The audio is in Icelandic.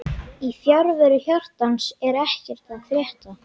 Yrkill, hvernig er dagskráin?